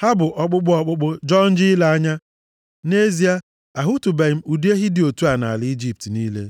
Ha bụ ọkpụkpụ ọkpụkpụ, jọọ njọ ile anya. Nʼezie, ahụtụbeghị m ụdị ehi dị otu a nʼala Ijipt niile.